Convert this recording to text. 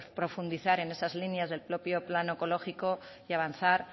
profundizar en esas líneas del propio plan oncológico y avanzar